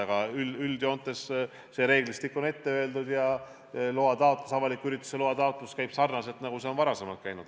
Aga üldjoontes see reeglistik on ette öeldud ja loataotlus, avaliku ürituse loa taotlus käib sarnaselt sellega, nagu see varem käis.